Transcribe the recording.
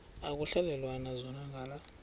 ekuhhalelwana zona ngala